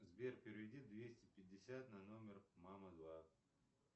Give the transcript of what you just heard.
сбер переведи двести пятьдесят на номер мама два